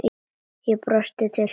Ég brosi til hennar.